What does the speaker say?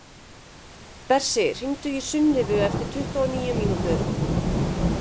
Bersi, hringdu í Sunnivu eftir tuttugu og níu mínútur.